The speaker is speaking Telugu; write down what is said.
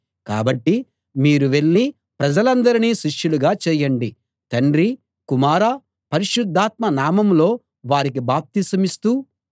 కాబట్టి మీరు వెళ్ళి ప్రజలందరినీ శిష్యులుగా చేయండి తండ్రి కుమార పరిశుద్ధాత్మల నామంలో వారికి బాప్తిసమిస్తూ